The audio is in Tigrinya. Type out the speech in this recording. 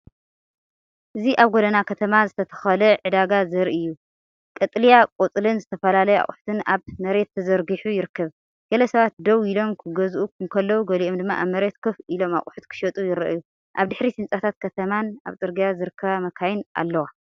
እዚ ኣብ ጎደና ከተማ ዝተተኽለ ዕዳጋ ዘርኢ እዩ። ቀጠልያ ቆጽልን ዝተፈላለየ ኣቑሑትን ኣብ መሬት ተዘርጊሑ ይርከብ። ገለሰባት ደው ኢሎም ክገዝኡ እንከለዉ፡ገሊኦም ድማ ኣብ መሬት ኮፍ ኢሎም ኣቑሑት ክሸጡ ይረኣዩ። ኣብ ድሕሪት ህንጻታት ከተማን ኣብ ጽርግያ ዝርከባ መካይንን ኣለዋ።